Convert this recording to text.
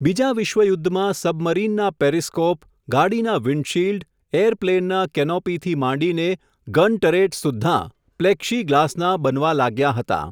બીજાવિશ્વયુદ્ધમાં સબમરીનનાં પેરીસ્કોપ, ગાડીનાં windshield, air પ્લેનનાં કેનોપીથી માંડીને ગન ટરેટ સુદ્ધાં, પ્લેક્ષી ગ્લાસનાં બનવા લાગ્યા હતા.